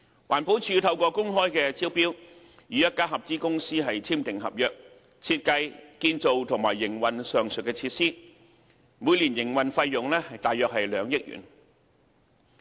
環境保護署透過公開招標，與一家合資公司簽訂合約，設計、建造及營運上述設施，每年營運費用約2億元。